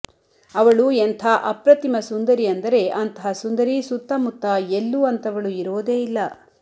ಅವಳು ಎಂಥಾ ಅಪ್ರತಿಮ ಸುಂದರಿ ಅಂದರೆ ಅಂತಹ ಸುಂದರಿ ಸುತ್ತಮುತ್ತ ಎಲ್ಲೂ ಅಂತವಳು ಇರೋದೇ ಇಲ್ಲ